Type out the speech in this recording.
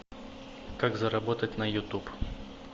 как заработать на ютуб